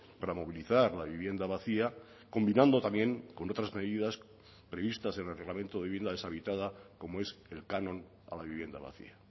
para movilizar la vivienda vacía combinando también con otras medidas previstas en el reglamento de vivienda deshabitada como es el canon a la vivienda vacía